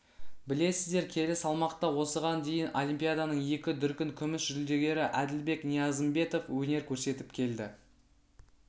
білесіздер келі салмақта осыған дейін олимпиаданың екі дүркін күміс жүлдегері әділбек ниязымбетов өнер көрсетіп келді